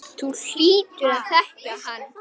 Þú hlýtur að þekkja hann.